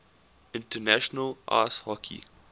international ice hockey